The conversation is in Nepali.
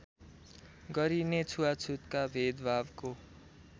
गरिने छुवाछुतका भेदभावको